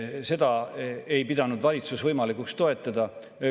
Seda ei pidanud valitsus võimalikuks toetada.